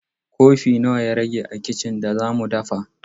Kofi nawa ya rage a kicin da za mu dafa?